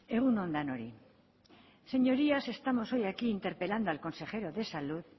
egun on denoi señorías estamos hoy aquí interpelando al consejero de salud